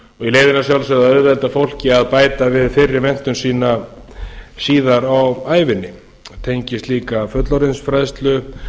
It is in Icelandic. í leiðinni að sjálfsögðu að auðvelda fólki að bæta við fyrri menntun sína síðar á ævinni það tengist líka fullorðinsfræðslu